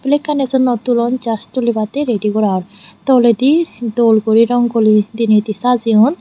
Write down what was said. sekkani sondop tulon jast tulibatte redi gora or toledi dol guri guli diney di sajeyon.